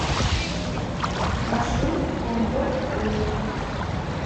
маршрут комфортстрой